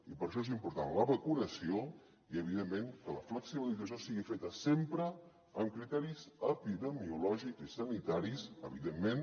i per això és important la vacunació i evidentment que la flexibilització sigui feta sempre amb criteris epidemiològics i sanitaris evidentment